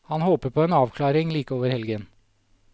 Han håper på en avklaring like over helgen.